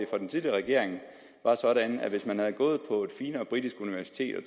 for den tidligere regering var sådan at man hvis man havde gået på et finere britisk universitet og